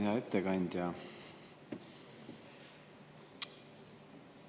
Hea ettekandja!